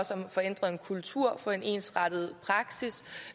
om at få ændret en kultur og få en ensartet praksis